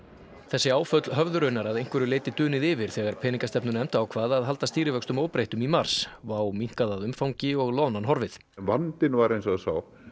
þessi áföll höfðu raunar að einhverju leyti dunið yfir þegar peningastefnunefnd ákvað að halda stýrivöxtum óbreyttum í mars WOW minnkað að umfangi og loðnan horfið en vandinn var hins vegar sá